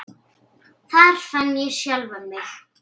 Þar fann ég sjálfan mig.